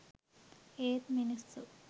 ඒත් මිනිස්සු